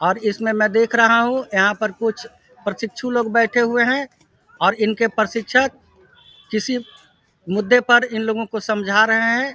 और इसमें मैं देख रहा हूँ यहाँ पर कुछ प्रशिक्षुक लोग बैठे हुए है और इनके प्रशिक्षक किसी मुद्दे पर इन लोगो को समझा रहे हैं।